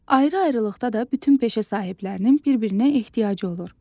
Ayrı-ayrılıqda da bütün peşə sahiblərinin bir-birinə ehtiyacı olur.